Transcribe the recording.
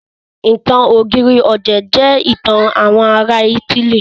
Ìtàn ọ̀gírì ọ̀dẹ̀ jẹ́ ìtàn àwọn ará ítílì.